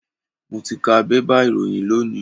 Mo ti ka bébà ìròyìn lónìí.